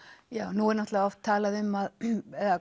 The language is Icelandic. nú er náttúrulega oft talað um